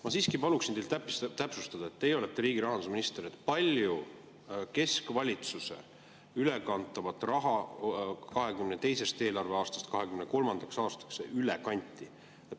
Ma siiski paluksin teil täpsustada – teie olete riigi rahandusminister –, kui palju keskvalitsuse raha 2022. eelarveaastast 2023. aastaks üle kanti.